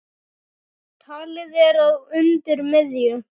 Talið er að undir miðju